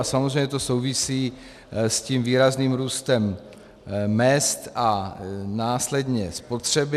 A samozřejmě to souvisí s tím výrazným růstem mezd a následně spotřeby.